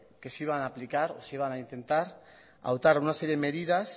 que se iban a aplicar que se iban a intentar adoptar una serie de medidas